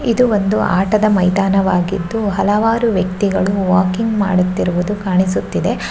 ಇದು ಒಂದು ಆಟದ ಮೈದಾನವಾಗಿದ್ದು ಹಲವಾರು ವ್ಯಕ್ತಿಗಳು ವಾಕಿಂಗ್ ಮಾಡುತ್ತಿರುವುದು ಕಾಣಿಸುತ್ತಿದೆ --